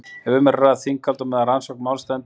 ef um er að ræða þinghald á meðan rannsókn máls stendur